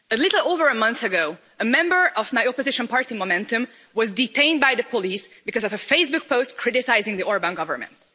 A little over a month ago, a member of my opposition party, Momentum, was detained by police because of a Facebook post criticising the Orbán government.